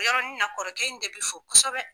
O yɔrɔnin na kɔrɔkɛ in de be fo kɔsɛbɛ.